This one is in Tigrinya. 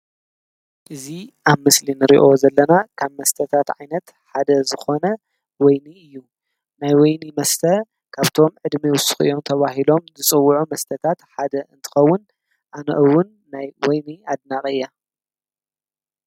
እዚ ኣብ ስእሊ ንሪኦ ዘለና ካብ መስተታት ዓይነት ሓደ ዝኽዕነ ወይኒ እዩ። ናይ ወይኒ መስተ ካብቶም ዕድመ ይዉስኩ እዮም ተባሂሎም ዝፅዉዑ መስተታት ሓደ እንትኸዉን ናይ ወይኒ ኣድናቂ እየ።